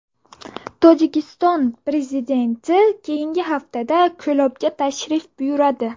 Tojikiston prezidenti keyingi haftada Ko‘lobga tashrif buyuradi.